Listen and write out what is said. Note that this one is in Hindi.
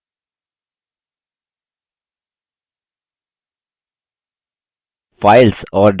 files और directories मिलकर लिनक्स files system को बनाती हैं